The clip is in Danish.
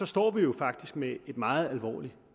står vi jo faktisk med et meget alvorligt